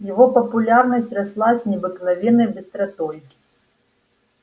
его популярность росла с необыкновенной быстротой